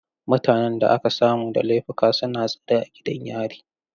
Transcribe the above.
Mutanen da aka samu da laifuka suna tsare a gidan yari.